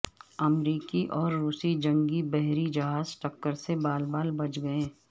امریکی اور روسی جنگی بحری جہاز ٹکر سے بال بال بچ گئے